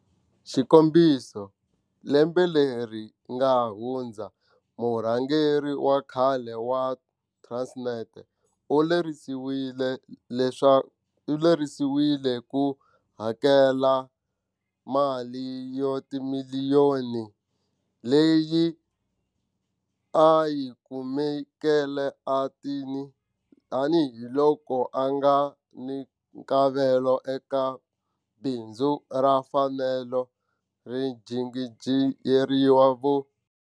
Xikombiso, lembe leri nga hundza murhangeri wa khale wa Transnet u lerisiwile ku hakela mali wa timiliyoni leyi a yi kumeke tanihi loko a nga ni nkavelo eka bindzu ra feme ya vainjhiniyere.